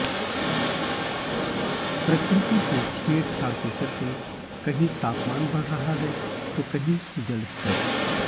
प्रकृति से छेड़छाड़ के चलते कहीं तापमान बढ़ रहा है तो कहीं जल स्तर